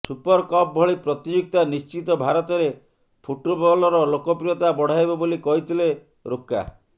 super cup ଭଳି ପ୍ରତିଯୋଗିତା ନିଶ୍ଚିତ ଭାରତରେ ଫୁଟ୍ବଲ୍ର ଲୋକପ୍ରିୟତା ବଢ଼ାଇବ ବୋଲି କହିଥିଲେ ରୋକା